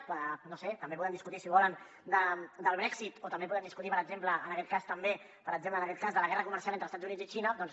no ho sé també podem discutir si volen del brexit o també podem discutir per exemple en aquest cas de la guerra comercial entre els estats units i xina doncs